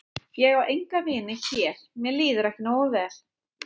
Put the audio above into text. Ég á enga vini hér mér líður ekki nógu vel.